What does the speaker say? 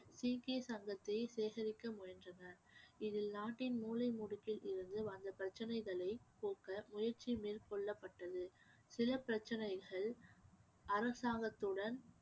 சிக்கிய சங்கத்தை சேகரிக்க முயன்றனர் இதில் நாட்டின் மூலைமுடுக்கில் இருந்து வந்த பிரச்சனைகளை போக்க முயற்சி மேற்கொள்ளப்பட்டது சில பிரச்சனைகள் அரசாங்கத்துடன்